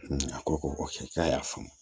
A ko ko k'a y'a faamu